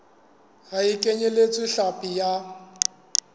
ha e kenyeletse hlapi ya